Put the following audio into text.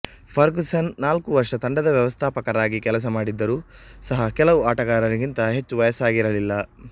Ferguson ನಾಲ್ಕು ವರ್ಷ ತಂಡದ ವ್ಯವಸ್ಥಾಪಕರಾಗಿ ಕೆಲಸ ಮಾಡಿದ್ದರೂ ಸಹ ಕೆಲವು ಆಟಗಾರರಿಗಿಂತ ಹೆಚ್ಚು ವಯಸ್ಸಾಗಿರಲಿಲ್ಲ